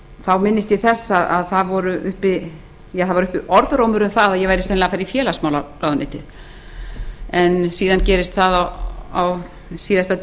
þá minnist ég þess að uppi var orðrómur um það að ég væri sennilega að fara í félagsmálaráðuneytið en síðan gerðist það eiginlega á síðasta